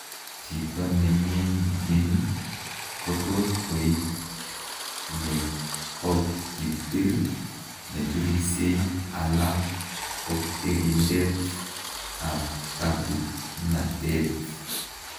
Chito neming'in kotot koik nekokibir, nebirisie ala kokerindet ab kabuknatet